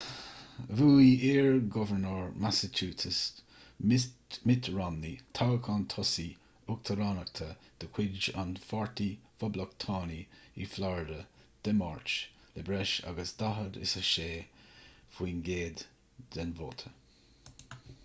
bhuaigh iar-ghobharnóir massachusetts mitt romney toghchán tosaigh uachtaránachta de chuid an pháirtí phoblachtánaigh i florida dé máirt le breis agus 46 faoin gcéad den vóta